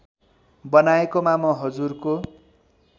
बनाएकोमा म हजुरको